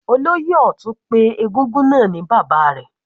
Olóyè Ọtun pé egúngún náà ni bàbá rẹ̀.